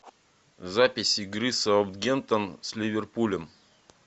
запись игры саутгемптон с ливерпулем